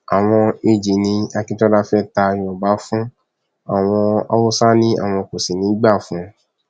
àwọn ag ní akíntola fẹẹ ta yorùbá fún àwọn haúsá ni àwọn kò sì ní í gbà fún un